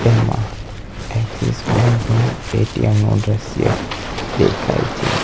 એમાં Axis bank નું ATM નો દ્રશ્ય દેખાય છે.